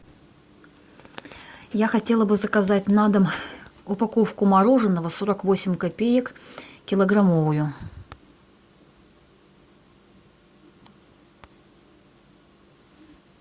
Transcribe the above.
я хотела бы заказать на дом упаковку мороженого сорок восемь копеек килограммовую